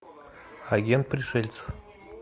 агент пришельцев